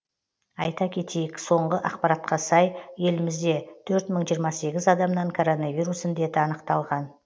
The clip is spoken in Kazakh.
айта кетейік соңғы ақпаратқа сай елімізде төрт мың жиырма сегіз адамнан коронавирус індеті анықталған